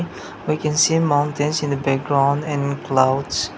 we can see mountains in the background and clouds.